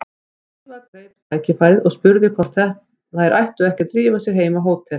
Drífa greip tækifærið og spurði hvort þær ættu ekki að drífa sig heim á hótel.